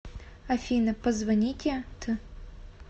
афина позвоните т